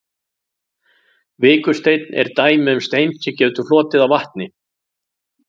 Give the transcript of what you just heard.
Vikursteinn er dæmi um stein sem getur flotið á vatni.